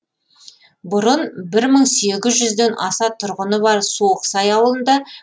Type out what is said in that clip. бұрын бір мың сегіз жүзден аса тұрғыны бар суықсай ауылында